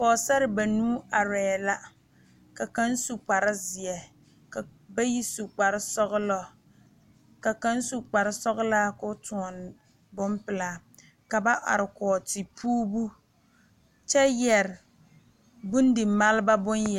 Pɔɔsare banuu arɛɛ la ka kaŋ su kpar zeɛ ka bayi su kpar sɔgelɔ ka kaŋ su kpar sɔlaa ka o nyɔni bompelaa ka ba are kɔge tepuurebu kyɛ yɛrɛ bondimaale bon